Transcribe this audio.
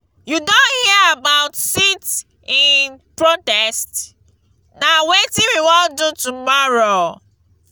you don hear about sit-in protest? na wetin we wan do tomorrow.